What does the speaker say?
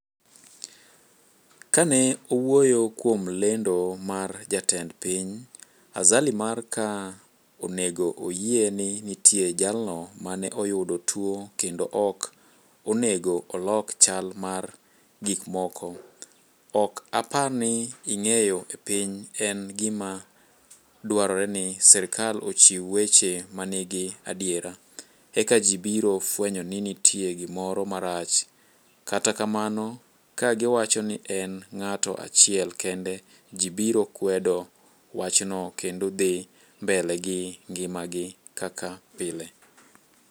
"kane owuoyo kuom lendo mar jatend piny Azali mar ka onego oyie ni nitie jalno mane oyudo tuo kendo ok onego olok chal mar gikmoko "ok apar ni ing'eyo e piny en gima dwarore ni serkal ochiw weche manigi adiera ,eka ji biro fwenyo ni nitie gimoro marach, kata kamano ka giwacho ni en ng'ato achiel kende ji biro kwedo wachno kendo dhi mbele gi ng'ima gi kaka pile.